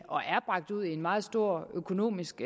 og er bragt ud i en meget stor økonomisk